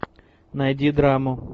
найди драму